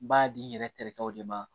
N b'a di n yɛrɛ terikɛw de ma